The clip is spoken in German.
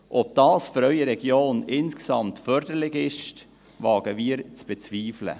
Ob dies für Ihre Region insgesamt förderlich ist, wagen wir zu bezweifeln.